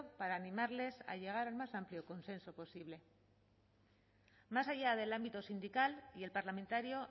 para animarles a llegar al más amplio consenso posible más allá del ámbito sindical y el parlamentario